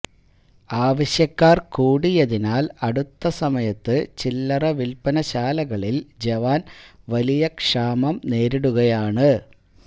ആവശ്യക്കാര് കൂടിയതിനാല് അടുത്ത സമയത്ത് ചില്ലറവില്പനശാലകളില് ജവാന് വലിയ ക്ഷാമം നേരിടുകയാണ്